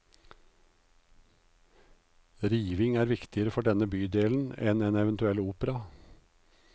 Riving er viktigere for denne bydelen enn en eventuell opera.